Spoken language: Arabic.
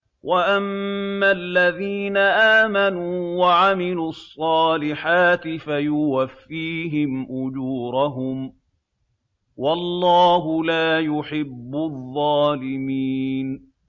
وَأَمَّا الَّذِينَ آمَنُوا وَعَمِلُوا الصَّالِحَاتِ فَيُوَفِّيهِمْ أُجُورَهُمْ ۗ وَاللَّهُ لَا يُحِبُّ الظَّالِمِينَ